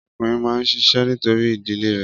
Ọkùnrin máa ń ṣiṣẹ́ nítorí ìdílé rè